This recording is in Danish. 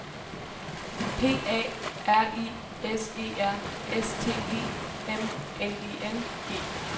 P A R I S E R S T E M N I N G